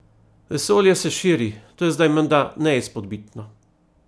Vesolje se širi, to je zdaj menda neizpodbitno.